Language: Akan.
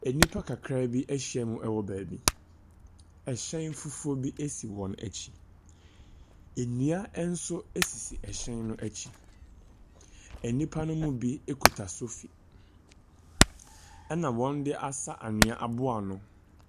Enipa kakra bi ahyia mu ɛwɔ baabi, ɛhyɛn fufuo bi esi wɔn akyi. Ennua ɛnso esisi ɛhyɛn no akyi, ɛnipa no mu bi ekuta sofi, ɛna wɔn de asa anwea aboa ano.